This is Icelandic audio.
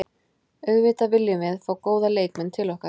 Auðvitað viljum við fá góða leikmenn til okkar.